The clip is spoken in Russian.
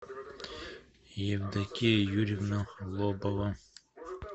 евдокия юрьевна лобова